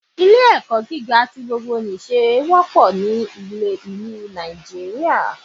Ilé ẹ̀kọ́ gíga ti gbogbo nìse pọ̀ ní ilẹ̀ Nàìjíríà